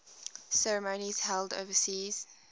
ceremonies held overseas